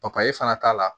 papaye fana t'a la